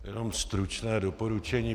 Jenom stručné doporučení.